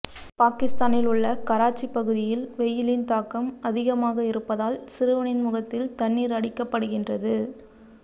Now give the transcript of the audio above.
பாகிஸ்தானில் உள்ள கராச்சி பகுதியில் வெயிலின் தாக்கம் அதிகமாக இருப்பதால் சிறுவனின் முகத்தில் தண்ணீர் அடிக்கப்படிகின்றது